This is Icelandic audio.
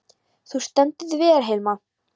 Þú stendur þig vel, Hilma!